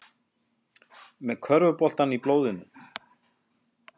Með körfuboltann í blóðinu